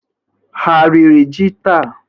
Ha riri ji taa?